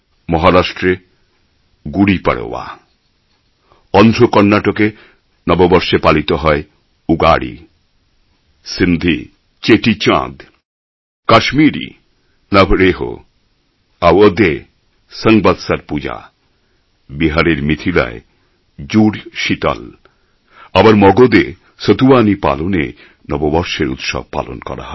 মহারাষ্ট্রে গুড়ি পড়োয়া অন্ধ্র কর্ণাটকে নববর্ষে পালিত হয় উগাড়ি সিন্ধি চেটি চাঁদ কাশ্মিরী নবরেহ আওয়োধ এ সংবৎসর পূজা বিহারের মিথিলায় জুড় শীতল আবার মগধে সতুওয়ানি পালনে নববর্ষের উৎসব পালন করা হয়